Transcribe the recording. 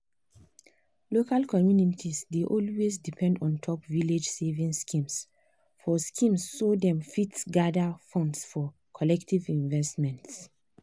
local communities dey always depend ontop village savings schemes so schemes so dem fit gather funds for collective investments.